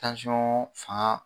Tansiyɔn fanga